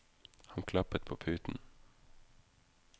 Han klappet på puten.